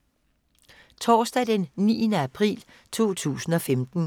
Torsdag d. 9. april 2015